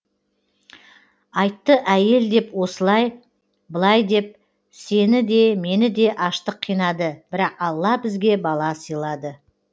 айтты әйел деп осылай былай деп сені де мені де аштық қинады бірақ алла бізге бала сыйлады